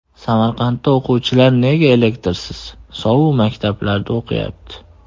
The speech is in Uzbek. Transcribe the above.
Samarqandda o‘quvchilar nega elektrsiz, sovuq maktablarda o‘qiyapti?